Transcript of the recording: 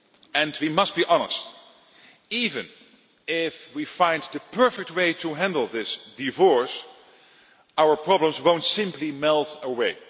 And we must be honest even if we find the perfect way to handle this divorce', our problems won't simply melt away.